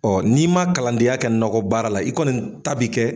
n'i ma kalandenya kɛ nakɔbaara la, i kɔni ta bɛ kɛ